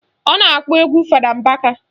Ọ na-akpọ egwu Fada Mbaka